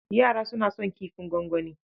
Yara suna son kifin gwangwani.